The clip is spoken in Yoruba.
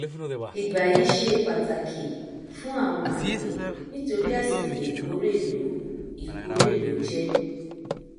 ìgbà yìí ṣe pàtàkì fún àwọn àgbẹ nítorí àsìkò ìkórè ló ìkórè ló jẹ